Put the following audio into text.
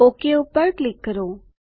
okay પર click કરો